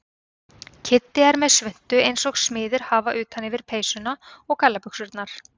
Kiddi er með svuntu eins og smiðir hafa utan yfir peysuna og gallabuxurnar.